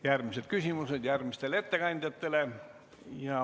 Järgmised küsimused on järgmistele ettekandjatele.